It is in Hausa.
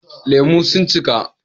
Lemu sun cika